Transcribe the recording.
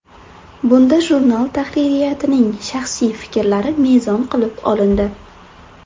Bunda jurnal tahririyatining shaxsiy fikrlari mezon qilib olindi.